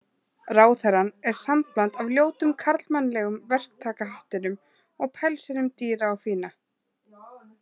Ráðherrann er sambland af ljótum karlmannlegum verktakahattinum og pelsinum dýra og fína.